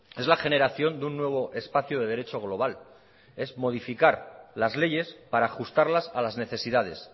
es la generación de un nuevo espacio de derecho global es modificar las leyes para ajustarlas a las necesidades